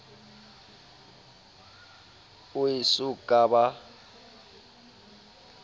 o e so ka ba